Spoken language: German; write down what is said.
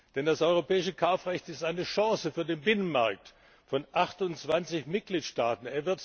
Denn das europäische Kaufrecht ist eine Chance für den Binnenmarkt von 28Mitgliedstaaten.